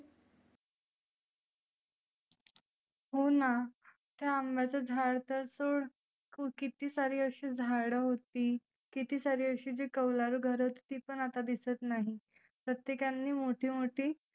होना ते अंब्याचं झाड तर सोड किती सारी अशी झाडं होती. किती सारी अशी जी कौलारु घरं होती ती पण आता दिसत नाही. प्रत्येकांनी मोठी मोठी